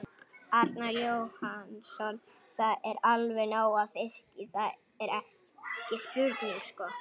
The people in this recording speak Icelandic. Arnar Jóhannsson: Það er allavega nóg af fiski, það, það er ekki spurning sko?